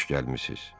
Xoş gəlmisiz.